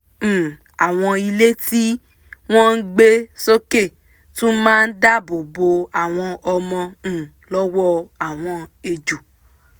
um àwọn ilé tí wọ́n gbé sókè tún máa dáàbò bo àwọn ọmọ um lọ́wọ́ àwọn ejò